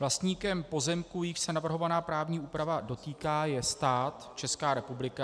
Vlastníkem pozemků, jichž se navrhovaná právní úprava dotýká, je stát, Česká republika.